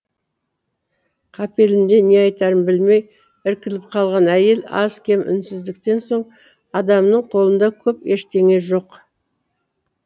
қапелімде не айтарын білмей іркіліп қалған әйел аз кем үнсіздіктен соң адамның қолында көп ештеңе жоқ